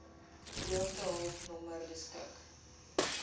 droogtehulp nommer beskik